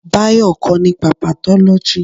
Bayo kọ́ nípa patólóji